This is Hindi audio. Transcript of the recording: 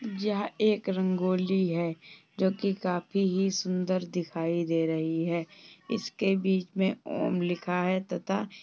यह एक रंगोली है जो कि काफी ही सुंदर दिखाई दे रही है। इसके बीच मे ॐ लिखा है तथा --